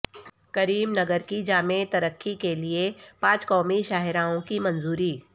کریم نگر کی جامع ترقی کیلئے پانچ قومی شاہراہوں کی منظوری